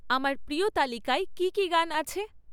আমার প্র্রিয় তালিকায় কী কী গান আছে?